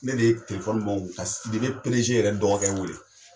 Ne de ye bɔ n kun ka Sidibe yɛrɛ dɔgɔkɛ weele.